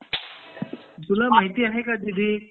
तुला माहिती आहे का दीदी